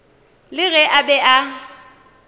le ge a be a